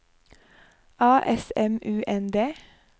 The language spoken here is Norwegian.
A S M U N D